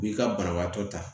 I b'i ka banabaatɔ ta